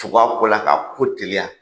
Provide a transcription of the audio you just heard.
Tugu a ko la, ka ko teliya.